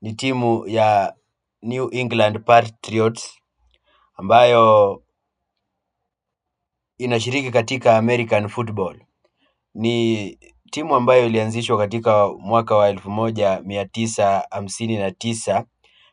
ni timu ya New England Patriots ambayo inashiriki katika American football. Ni timu ambayo ilianzishwa katika mwaka wa elfu moja mia tisa hamsini na tisa